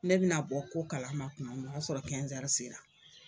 Ne bi na bɔ ko kalama tuma min o y'a sɔrɔ sera.